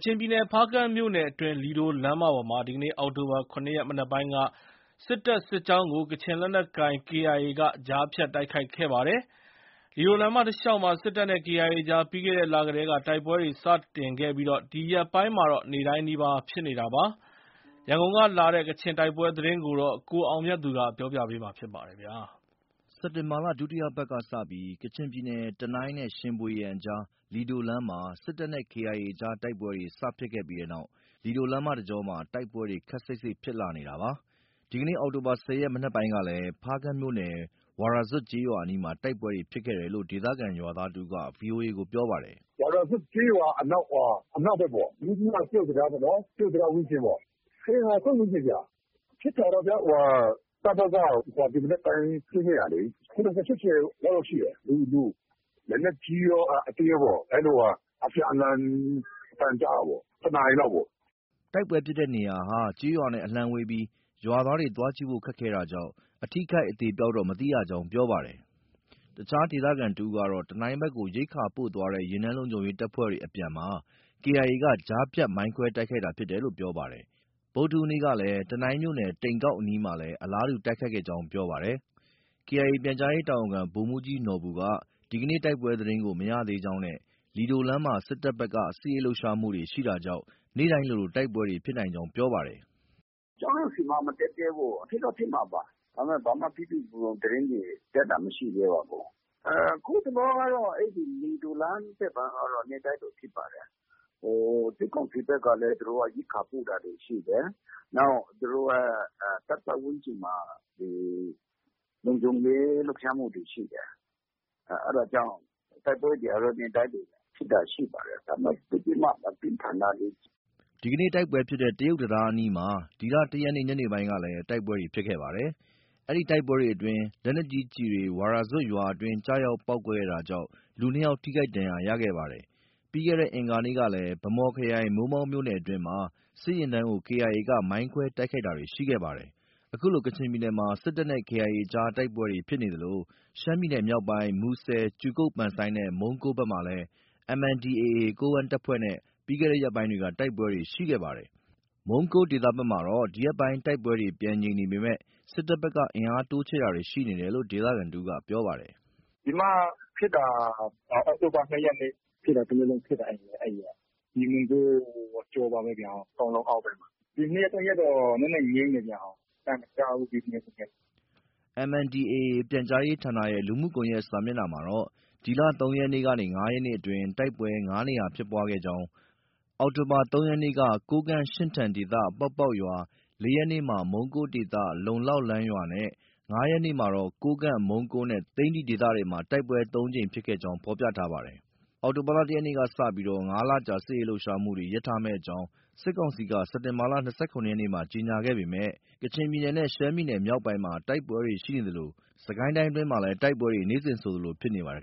ချင်ပြည်နယ်၊ ဖားကန့်မြို့နယ်အတွင်း လီဒိုလမ်းမပေါ်မှာ ဒီကနေ့ အောက်တိုဘာ ၇ ရက် မနက်ပိုင်းက စစ်တပ် စစ်ကြောင်းကို ကချင်လက်နက်ကိုင် KIA က ကြားဖြတ်တိုက်ခိုက်ခဲ့ပါတယ်။ လီဒိုလမ်းမတလျှောက်မှာ စစ်တပ်နဲ့ KIA ကြား ပြီးခဲ့တဲ့လကတည်းက တိုက်ပွဲတွေ စတင်ခဲ့ပြီး ဒီရက်ပိုင်းမှာတော့ နေ့တိုင်းနီးပါး ဖြစ်နေတာပါ။ ရန်ကုန်ကလာတဲ့ ကချင်ပြည်နယ်က တိုက်ပွဲသတင်းကို ကိုအောင်မြတ်သူက ပြောပြပါမယ်။ စက်တင်ဘာလ ဒုတိယပတ်ကစပြီး ကချင်ပြည်နယ်၊ တနိုင်းနဲ့ ရှင်ဗွေယန်ကြား လီဒိုလမ်းမှာ စစ်တပ် နဲ့ KIA ကြား တိုက်ပွဲတွေ စဖြစ်ခဲ့ပြီးတဲ့နောက် လီဒိုလမ်းမတကြောမှာ တိုက်ပွဲတွေ ခပ်စိပ်စိပ်ဖြစ်လာနေတာပါ။ ဒီကနေ့ အောက်တိုဘာ ၁၀ ရက် မနက်ပိုင်းကလည်း ဖားကန့်မြို့နယ်၊ ဝါရာဇွပ်ကျေးရွာအနီးမှာ တိုက်ပွဲဖြစ်ခဲ့တယ်လို့ ဒေသခံရွာသားတဦးက VOA ကို ပြောပါတယ်။ “ဝါရာဇွပ်ကျေးရွာအနောက်ပေါ့။ ယုဇန-တရုတ်တံတားပေါ့။ တရုတ်တံတားဝန်းကျင်ပေါ့။ ၁၀ နာရီခွဲ ဝန်းကျင်ဗျ။ ဖြစ်တာတော့ တပ်ဘက်က ဒီမနက်ပိုင်းဆင်းခဲ့တာလေ။ ၇၀-၈၀ လောက်တော့ ရှိတယ် လူ၊ လက်နက်ကြီးရော၊ အသေးရောပေါ့။ အဲလို အပြန်အလှန် အသံကြားတာပေါ့။ ၁ နာရီလောက်ပေါ့။” တိုက်ပွဲဖြစ်တဲ့နေရာဟာ ကျေးရွာတွေနဲ့ အလှမ်းဝေးပြီး ရွာသားတွေ သွားကြည့်ဖို့ ခက်ခဲတာကြောင့် အထိအခိုက် အသေအပျောက်တော့ မသိရကြောင်း ပြောပါတယ်။ အခြားဒေသခံတဦးကတော့ တနိုင်းဘက်ကို ရိက္ခာပို့သွားတဲ့ ယာဉ်တန်းလုံခြုံရေးတပ်ဖွဲ့တွေ အပြန်မှာ KIA က ကြားဖြတ် မိုင်းခွဲတိုက်ခိုက်တာဖြစ်တယ်လို့ ပြောပါတယ်။ ဗုဒ္ဓဟူးနေ့ကလည်း တနိုင်းမြို့ နယ်၊ တိန်ကောက်အနီးမှာ အလားတူ တိုက်ခိုက်ခဲ့ကြောင်း ပြောပါတယ်။ KIA က ပြန်ကြားရေးတာဝန်ခံ ဗိုလ်မှူးကြီးနော်ဘူက ဒီကနေ့ တိုက်ပွဲသတင်းကို မရသေးကြောင်းနဲ့ လီဒိုလမ်းမှာတော့ စစ်တပ်ဘက်က စစ်ရေးလှုပ်ရှားမှုတွေ ရှိတာကြောင့် နေ့တိုင်းလို တိုက်ပွဲဖြစ်ကြောင်း ပြောပါတယ်။ “ကျနော်တို့ဆီမှာ မတက်သေးဘူး။ ဖြစ်တော့ ဖြစ်မှာပါ။ ဒါပေမဲ့ ဘာမှ ပြည့်ပြည့်စုံစုံသတင်းတွေ တက်တာ မရှိသေးပါဘူး။ အခုတလောကတော့ လီဒိုလမ်းဘက်မှာကတော့ နေ့တိုင်းလို ဖြစ်ပါတယ်။ စစ်ကောင်စီဘက်ကလည်း သူတို့က ရိက္ခာပို့တာတွေ ရှိတယ်။ နောက် သူတို့ရဲ့တပ်ပတ်ဝန်းကျင်မှာ ဒီ လုံခြုံရေးလှုပ်ရှားမှုတွေရှိတယ်။ အဲဒါကြောင့် တိုက်ပွဲတွေကတော့ နေ့တိုင်းလို ဖြစ်တာရှိပါတယ်။ ဒါပေမဲ့ သိပ်ပြီးမှ မပြင်းထန်လှဘူး။” ဒီကနေ့ တိုက်ပွဲဖြစ်တဲ့ တရုတ်တံတားအနီးမှာ ဒီလ ၁ ရက်နေ့ညနေပိုင်းကလည်း တိုက်ပွဲဖြစ်ခဲ့ပါတယ်။ အဲဒီတိုက်ပွဲအတွင်း လက်နက်ကြီးကျည်တွေ ဝါရာဇွပ်ရွာအတွင်း ကျရောက်ပေါက်ကွဲတာကြောင့် လူနှစ်ယောက် ထိခိုက်ဒဏ်ရာရခဲ့ပါတယ်။ ပြီးခဲ့တဲ့ အင်္ဂါနေ့ကလည်း ဗန်းမော်ခရိုင် မိုးမောက်မြို့နယ်အတွင်းမှာ စစ်ယာဉ်တန်းကို KIA က မိုင်းခွဲ တိုက်ခိုက်တာရှိခဲ့ပါတယ်။ ခုလို ကချင်ပြည်နယ်ထဲမှာ စစ်တပ်နဲ့ KIA ကြား တိုက်ပွဲဖြစ်နေသလို ရှမ်းပြည်နယ်မြောက်ပိုင်း မူဆယ် မြို့နယ်၊ ကြူကုတ်(ပန်ဆိုင်း) နဲ့ မုံးကိုးဘက်မှာလည်း MNDAA ကိုးကန့်တပ်ဖွဲ့နဲ့ ပြီးခဲ့တဲ့ရက်ပိုင်းတွေက တိုက်ပွဲတွေရှိခဲ့ပါတယ်။ ဒီရက်ပိုင်း တိုက်ပွဲတွေ ပြန်ငြိမ်နေပေမဲ့ စစ်တပ်ဘက်က အင်အားတိုးချဲ့တာတွေ ရှိနေတယ်လို့ မုံးကိုးဒေသခံတဦးက ပြောပါတယ်။ “ဒီမှာဖြစ်တာက အောက်တိုဘာ ၂ ရက်နေ့ ဖြစ်တာ။ ဖြစ်တာ တရက်လုံးဖြစ်တာ အဲဒီရက်က။ဒီ မုံးကိုး အကျော်ပါပဲ၊ ကောင်းလုံအောက်ဘက်မှာ။ ဒီ ၂ ရက်၊ ၃ ရက်တော့ နည်းနည်း ငြိမ်နေတယ်ဗျ။ အသံမကြားဘူး။ ဒီ၂ ရက်၊ ၃ ရက်။” MNDAA ပြန်ကြားရေးဌာနရဲ့ လူမှုကွန်ရက်စာမျက်နှာမှာတော့ ဒီလ ၃ ရက်နေ့ကနေ ၅ ရက်အတွင်း တိုက်ပွဲ ၅ နေရာဖြစ်ပွားခဲ့ကြောင်း အောက်တိုဘာ ၃ ရက်နေ့က ကိုးကန့်- ရှင့်ထန်ဒေသ၊ ပေါက်ပေါက်ရွာ၊ ၄ ရက်နေ့မှာ မုံးကိုးဒေသ- လုံလောက်လန်းရွာနဲ့၅ ရက်နေ့မှာတော့ ကိုးကန့်၊ မုံးကိုးနဲ့ သိန္နီဒေသတွေမှာ တိုက်ပွဲ ၃ ကြိမ်ဖြစ်ကြောင်း ဖော်ပြထားပါတယ်။ အောက်တိုဘာ ၁ ရက်နေ့ကစပြီး ၅ လကြာ စစ်ရေးလှုပ်ရှားမှုတွေ ရပ်ထားမယ့်အကြောင်း စစ်ကောင် စီက စက်တင်ဘာလ ၂၇ ရက်နေ့မှာ ကြေညာခဲ့ပေမဲ့ ကချင်ပြည်နယ်နဲ့ ရှမ်းပြည်နယ်မြောက်ပိုင်းမှာ တိုက်ပွဲတွေရှိနေသလို စစ်ကိုင်းတိုင်းအတွင်းမှာလည်း တိုက်ပွဲတွေ နေ့စဉ်ဆိုသလို ဖြစ်နေပါတယ်